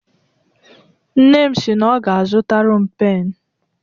Nne m si na ọ ga-azụtara m pen.